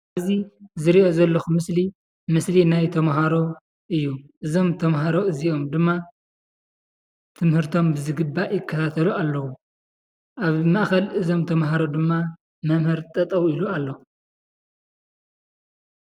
እዚ ዝርኦ ዘለኩ ምስሊ ናይ ተማሃሮ እዩ እዞም ተማሃሮ እዚኦም ድማ ትምህርቶም ብዝግባእ ይካታተሉ ኣለው ኣብ ማእከል እዞም ተመሃሩ ድማ መምህር ጠጠው ኢሉ ኣሎ።